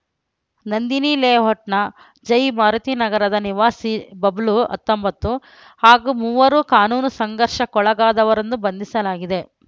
ನಂದಿನಿ ಲೇಔಟ್‌ನ ಜೈಮಾರುತಿನಗರ ನಿವಾಸಿ ಬಬ್ಲು ಹತ್ತೊಂಬತ್ತು ಹಾಗೂ ಮೂವರು ಕಾನೂನು ಸಂಘರ್ಷಕ್ಕೊಳಗಾದವರನ್ನು ಬಂಧಿಸಲಾಗಿದೆ